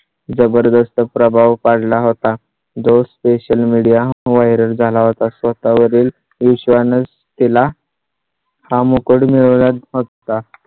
जबरदस्त प्रभाव पडला होता. जो social media viral झाला होता. स्वतः वरील विश्वासाने केला हा मुकुट मिळवला फक्त.